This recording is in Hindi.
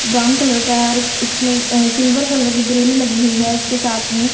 ब्राउन कलर का और इसमें अ सिल्वर कलर की ग्रिल लगी हुई है उसके साथ में--